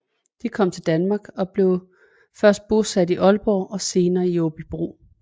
De kom til Danmark og blev først bosat i Aalborg og senere i Aabybro